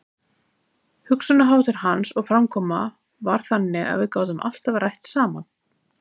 Hugsunarháttur hans og framkoma var þannig að við gátum alltaf rætt saman.